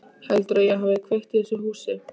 Heldurðu að ég hafi kveikt í þessu húsi?